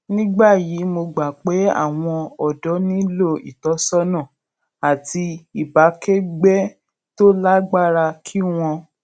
ní báyìí mo gbà pé àwọn òdó nílò ìtósónà ìtósónà àti ìbákégbé tó lágbára kí wón